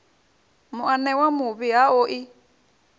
muanewa muvhi ha o i